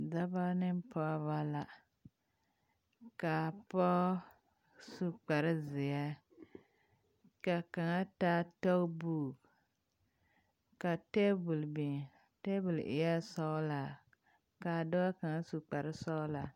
Dɔbɔ ne pɔɔbɔ la kaa pɔɔ su kparezeɛ ka kaŋa taa gumboot m ka tabol biŋ a tabol eɛɛ sɔglaa kaa dɔɔ kaŋ su kparesɔglaa.